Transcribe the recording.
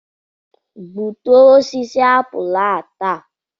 Gbutuo osisi apụl a taa!